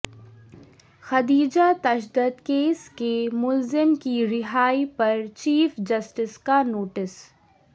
خدیجہ تشدد کیس کے ملزم کی رہائی پر چیف جسٹس کا نوٹس